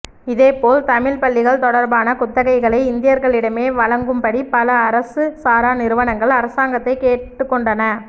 இதே போல் தமிழ்ப் பள்ளிகள் தொடர்பான குத்தகைகளை இந்தியர்களிடமே வழங்கும்படி பல அரசு சாரா நிறுவனங்கள் அரசாங்கத்தைக் கேட்டுக்கொண்டன